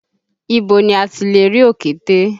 Ibo ni a ti lè rí òkété?